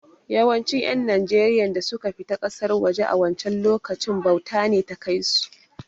Yawancin ƴan najeriyan da suka fita ƙasar waje a wancen lokacin, bauta ce ta kai su